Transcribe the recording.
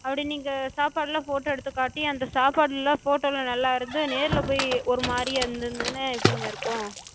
அப்டி நீங்க சாப்பாடு எல்லா photo எடுத்துக் காட்டி அந்தச் சாப்பாடுலா photo ல நல்லா இருந்து நேர்ல போய் ஒரு மாரியா இருந்ததுனா எப்டிங்க இருக்கு?